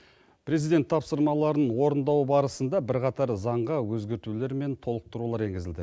президент тапсырмаларын орындау барысында бірқатар заңға өзгертулер мен толықтырулар енгізілді